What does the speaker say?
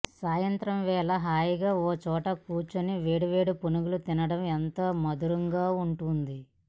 సాయంత్రం వేళ హాయిగా ఓ చోట కూర్చుని వేడి వేడి పునుగులను తినడం ఎంతో మధురంగా ఉంటుంది